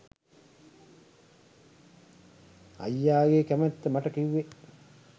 අයියාගේ කැමැත්ත මට කිව්වේ